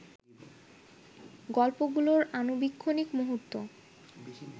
গল্পগুলোর আণুবীক্ষণিক মুহূর্ত